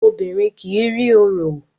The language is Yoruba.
Obìrin kí rí òrò.